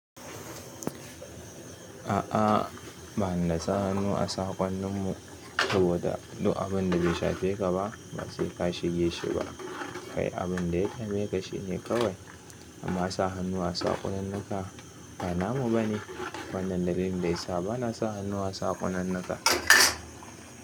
A'a, ba ni da sa hannu a saƙonnin mu saboda duk abin da bai shafi ka ba, ba sai ka shige shi ba. Kayi abin da yake shafi ka shi ne kawai. Amma sa hannu a sakonninnuka ba namu bane. Wannan dalilin da yasa ba na sa hannu a saƙonninnika.